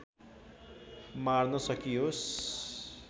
मार्न सकियोस्